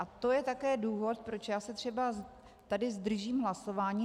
A to je také důvod, proč já se třeba tady zdržím hlasování.